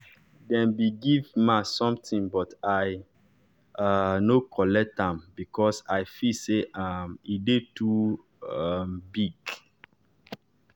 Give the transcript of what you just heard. dem be give ma sometin but i um nor collect am becos i feel say um e dey too um big